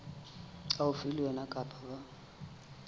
haufi le wena kapa ba